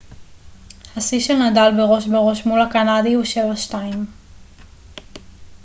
השיא של נדאל בראש בראש מול הקנדי הוא 7-2